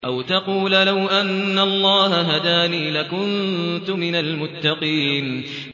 أَوْ تَقُولَ لَوْ أَنَّ اللَّهَ هَدَانِي لَكُنتُ مِنَ الْمُتَّقِينَ